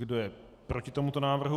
Kdo je proti tomuto návrhu?